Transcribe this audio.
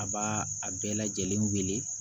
A b'a a bɛɛ lajɛlen wele